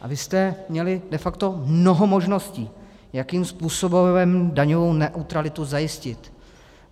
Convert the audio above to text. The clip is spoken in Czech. A vy jste měli de facto mnoho možností, jakým způsobem daňovou neutralitu zajistit.